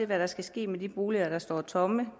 hvad der skal ske med de boliger der står tomme